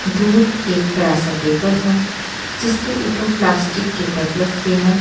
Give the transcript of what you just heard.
दूर एक बड़ा सा टेबल है जिसके ऊपर प्लास्टिक के टब रखे हैं।